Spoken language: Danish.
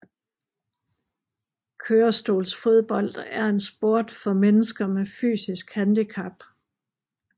Kørestolsfodbold er en sport for mennesker med fysisk handicap